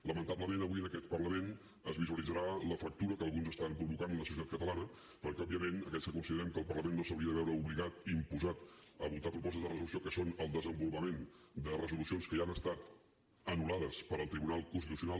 lamentablement avui en aquest parlament es visualitzarà la fractura que alguns estan provocant en la societat catalana perquè òbviament aquells que considerem que el parlament no s’hauria de veure obligat imposat a votar propostes de resolució que són el desenvolupament de resolucions que ja han estat anul·lades pel tribunal constitucional